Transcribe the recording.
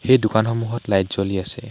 এই দোকানসমূহত লাইট জ্বলি আছে।